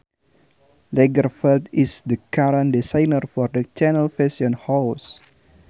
Lagerfeld is the current designer for the Chanel fashion house